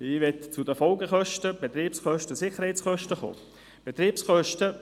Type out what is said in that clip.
Ich möchte auf die Folge-, die Betriebs- und die Sicherheitskosten zu sprechen kommen.